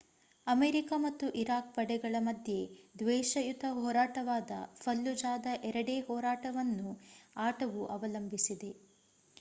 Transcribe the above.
America ಮತ್ತು Iraq ಪಡೆಗಳ ಮಧ್ಯೆ ದ್ವೇಷಯುತ ಹೋರಾಟವಾದ ಫಲ್ಲುಜಾದ ಎರಡೇ ಹೋರಾಟವನ್ನು ಆಟವು ಅವಲಂಬಿಸಿದೆ